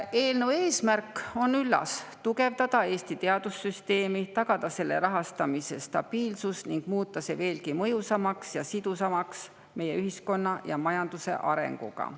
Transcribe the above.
Eelnõu eesmärk on üllas: tugevdada Eesti teadussüsteemi, tagada selle rahastamise stabiilsus ning muuta see veelgi mõjusamaks ja sidusamaks meie ühiskonna ja majanduse arenguga.